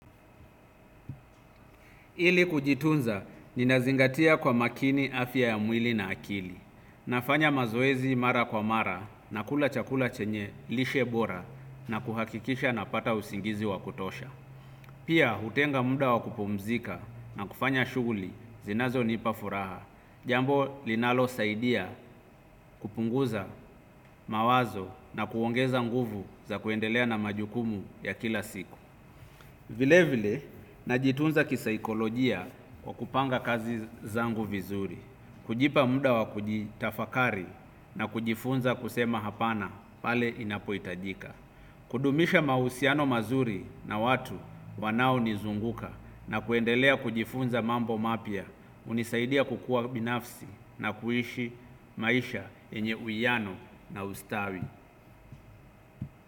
Ili kujitunza ninazingatia kwa makini afya ya mwili na akili. Nafanya mazoezi mara kwa mara na kula chakula chenye lishe bora na kuhakikisha napata usingizi wa kutosha. Pia hutenga muda wa kupumzika na kufanya shuguli zinazonipa furaha. Jambo linalosaidia kupunguza mawazo na kuongeza nguvu za kuendelea na majukumu ya kila siku. Vile vile ninajitunza kisaikolojia kwa kupanga kazi zangu vizuri. Hujipa muda wa kujitafakari na kujifunza kusema hapana pale inapohitajika hudumisha mahusiano mazuri na watu wanaonizunguka na kuendelea kujifunza mambo mapya hunisaidia kukuwa binafsi na kuishi maisha yenye uwiano na ustawi.